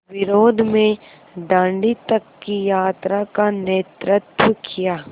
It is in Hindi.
विरोध में दाँडी तक की यात्रा का नेतृत्व किया